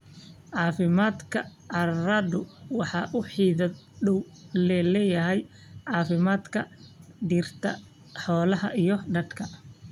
Caafimaadka carradu waxa uu xidhiidh dhow la leeyahay caafimaadka dhirta, xoolaha iyo dadka.